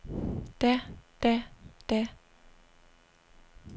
da da da